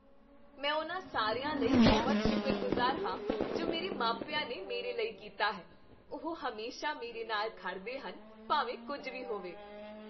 ਮੈਂ ਉਨ੍ਹਾਂ ਸਾਰਿਆਂ ਲਈ ਬਹੁਤ ਸ਼ੁਕਰਗੁਜ਼ਾਰ ਹਾਂ ਜੋ ਮੇਰੇ ਮਾਪਿਆਂ ਨੇ ਮੇਰੇ ਲਈ ਕੀਤਾ ਹੈ। ਉਹ ਹਮੇਸ਼ਾ ਮੇਰੇ ਨਾਲ ਖੜ੍ਹਦੇ ਹਨ ਭਾਵੇਂ ਕੁੱਝ ਵੀ ਹੋਵੇ।